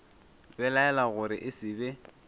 belaela gore e se be